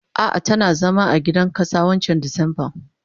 Ah ah tana zama a gidan kasa wancan disemban.